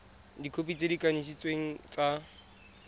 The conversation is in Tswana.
dikhopi tse di kanisitsweng tsa